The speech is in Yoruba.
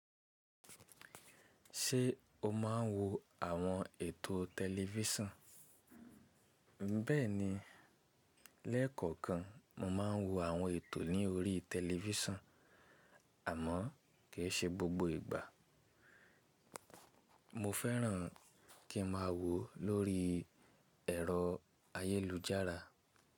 Ṣé o máa ń wo àwọn ètò tẹlifíṣàn? Bẹ́ẹ̀ni, lẹ́ẹ̀kọ̀kan mo máa ń wo àwọn ètò ní orí tẹlifíṣàn àmọ́ kì í ṣe gbogbo ìgbà. Mo fẹ́ràn kí n máa wò lórí ẹ̀rọ ayélujára.